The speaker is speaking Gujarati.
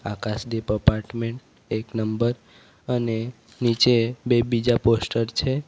આકાશદીપ અપાર્ટમેન્ટ એક નંબર અને નીચે બે બીજા પોસ્ટર છે.